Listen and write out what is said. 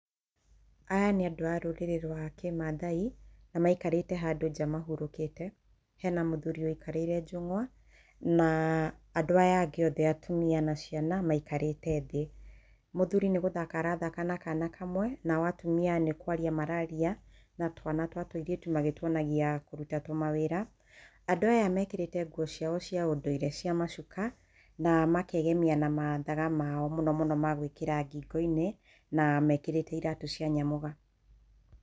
Aya nĩ andũ a rũrĩrĩ rwa kĩmaathai, na maikarĩte handũ nja mahurũkĩte. Hena mũthiri ũikarĩire njũng'wa, na andũ aya angĩ, atumia na ciana maikarĩte thĩ. Mũthuri nĩ gũthaka arathaka na kana kamwe, nao atumia nĩ kwaria mararia na twana twa tũirĩtu, magĩtuonagia kũruta tũmawĩra. Andũ aya mekĩrĩte nguo ciao cia ũndũire cia macuka, na makegemia na mathaga mao ma gũĩkĩra ngĩngo-inĩ, na mekĩrĩte iratũ cia nyamũga.